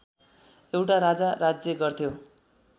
एउटा राजा राज्य गर्थ्यो